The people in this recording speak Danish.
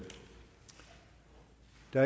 der